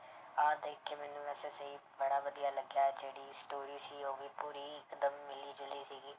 ਆਹ ਦੇਖ ਕੇ ਮੈਨੂੰ ਬੜਾ ਵਧੀਆ ਲੱਗਿਆ ਜਿਹੜੀ story ਸੀ ਉਹ ਵੀ ਪੂਰੀ ਇੱਕਦਮ ਮਿਲੀ ਜੁਲੀ ਸੀਗੀ।